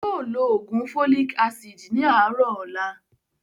Yii o ló ló oògùn "Folic Acid" ni àárọ̀ ọ̀la